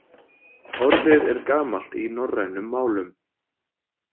Orðið er gamalt í norrænum málum.